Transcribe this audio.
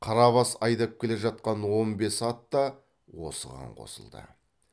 қарабас айдап келе жатқан он бес ат та осыған қосылды